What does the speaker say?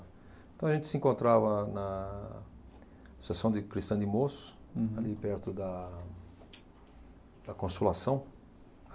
Então, a gente se encontrava na Associação de Cristã de Moços, ali perto da da Consolação.